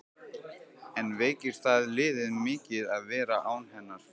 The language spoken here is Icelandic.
En veikir það liðið mikið að vera án hennar?